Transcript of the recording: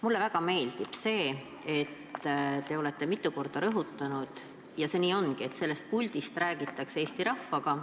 Mulle väga meeldib, et te olete mitu korda rõhutanud – ja see nii ongi –, et sellest puldist räägitakse Eesti rahvaga.